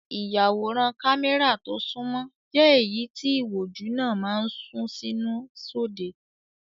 Ìyàwòrán kámẹ́rà tó sunmọ́ jẹ́ èyí tí ìwòjú náà máa ń sún sínú sóde.